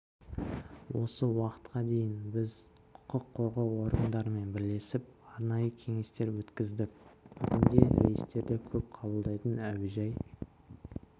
осы уақытқа дейін біз құқық қорғау органдарымен бірлесіп арнайы кеңестер өткіздік бүгінде рейстерді көп қабылдайтын әуежай